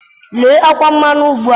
Lelee ọkwa mmanụ ugbu a.